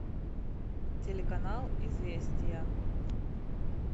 телеканал известия